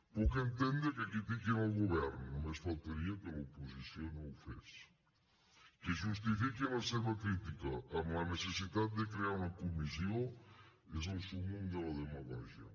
puc entendre que critiquin el govern només faltaria que l’oposició no ho fes que justifiquin la seva crítica amb la necessitat de crear una comissió és el súmmum de la demagògia